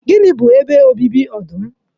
Gịnị bụ ebe obibi ọdụm?